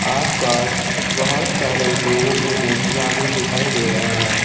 आसपास बहुत सारे लोगों के मूर्तियां भी दिखाई दे रहे हैं।